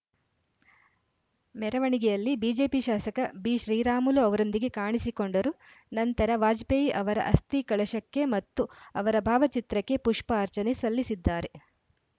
ಮೆರವಣಿಗೆಯಲ್ಲಿ ಬಿಜೆಪಿ ಶಾಸಕ ಬಿಶ್ರೀರಾಮುಲು ಅವರೊಂದಿಗೆ ಕಾಣಿಸಿಕೊಂಡರು ನಂತರ ವಾಜಪೇಯಿ ಅವರ ಅಸ್ಥಿ ಕಳಶಕ್ಕೆ ಮತ್ತು ಅವರ ಭಾವಚಿತ್ರಕ್ಕೆ ಪುಷ್ಪಾರ್ಚನೆ ಸಲ್ಲಿಸಿದ್ದಾರೆ